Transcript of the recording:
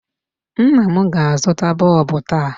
Nna m ga-azụta bulb taa.